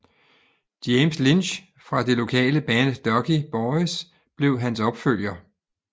James Lynch fra det lokale band Ducky Boys blev hans opfølger